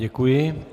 Děkuji.